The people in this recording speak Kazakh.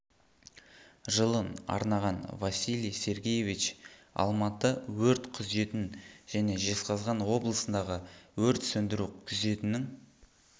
жылын арнаған василий сергеевич алматы өрт күзетін және жезқазған облысындағы өрт сөндіру күзетінің